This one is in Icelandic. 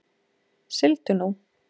Sigldu nú.